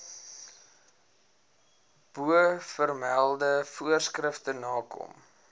bovermelde voorskrifte nakom